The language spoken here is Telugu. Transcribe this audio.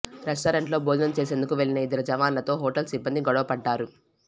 రెస్టారెంట్లో భోజనం చేసేందుకు వెళ్లిన ఇద్దరు జవాన్లతో హోటల్ సిబ్బంది గొడవపడ్డారు